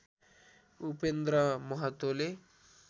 Upendra महतोले